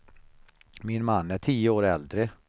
Min man är tio år äldre.